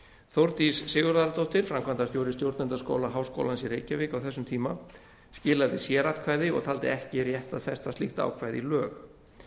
þórdís sigurðardóttir framkvæmdastjóri stjórnendaskóla háskólans í reykjavík á þessum tíma skilaði sératkvæði og taldi ekki rétt að festa slíkt ákvæði í lög